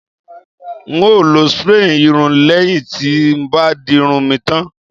n o lo spray irun leyin ti n bá dirun mi tan